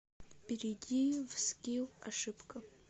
перейди в скилл ошибка